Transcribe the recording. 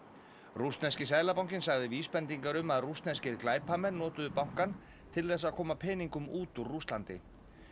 rússneski seðlabankinn sagði vísbendingar um að rússneskir glæpamenn notuðu bankann til þess að koma peningum út úr Rússlandi